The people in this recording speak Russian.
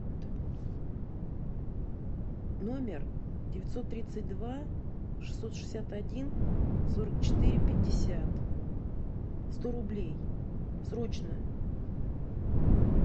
номер девятьсот тридцать два шестьсот шестьдесят один сорок четыре пятьдесят сто рублей срочно